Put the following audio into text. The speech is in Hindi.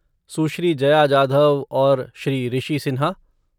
सुश्री जया जाधव और श्री ऋषि सिन्हा